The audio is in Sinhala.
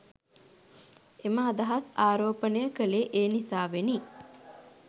එම අදහස් ආරෝපණය කළේ එනිසාවෙනි.